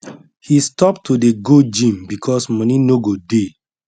he stop to dey go gym because money no go dey